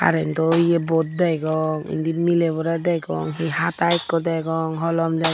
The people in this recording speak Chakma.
karento yo bod degong indi mileborey degong hi hata ikko degong holom degong.